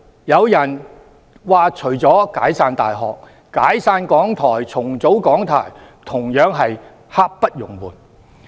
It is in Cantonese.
有人說除了"解散大學"，"解散港台"、"重組港台"同樣是刻不容緩。